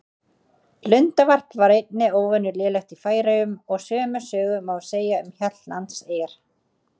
Lundavarp var einnig óvenju lélegt í Færeyjum og sömu sögu má segja um Hjaltlandseyjar.